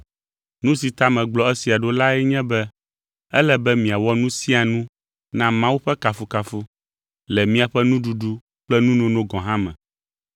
Nu si ta megblɔ esia ɖo lae nye be ele be miawɔ nu sia nu na Mawu ƒe kafukafu, le miaƒe nuɖuɖu kple nunono gɔ̃ hã me.